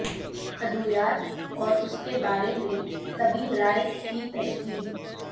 ادویات اور اس کے بارے میں طبی رائے کی تشکیل